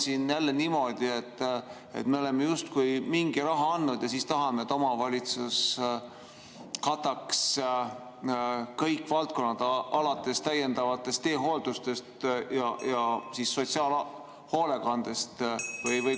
Või on jälle niimoodi, et me oleme justkui mingi raha andnud ja siis tahame, et omavalitsus kataks kõik valdkonnad, alates täiendavast teehooldusest ja sotsiaalhoolekandest?